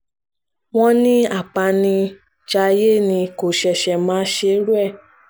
wọ́n ní apanijayé ni kò ṣẹ̀ṣẹ̀ máa ṣerú ẹ̀